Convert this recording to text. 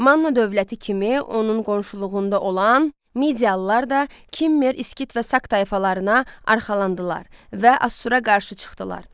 Manna dövləti kimi onun qonşuluğunda olan medialılar da Kimmer, Skit və Sak tayfalarına arxalandılar və Assura qarşı çıxdılar.